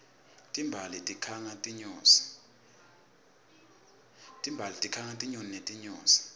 timbali tikhanga tinyoni netinyosi